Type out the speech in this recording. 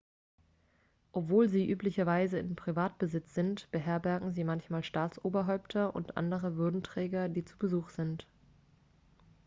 obwohl sie üblicherweise in privatbesitz sind beherbergen sie manchmal staatsoberhäupter und andere würdenträger die zu besuch sind